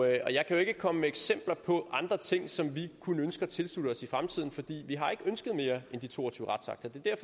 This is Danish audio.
jeg kan ikke komme med eksempler på andre ting som vi kunne ønske at tilslutte os i fremtiden for vi har ikke ønsket mere end de to og tyve retsakter det er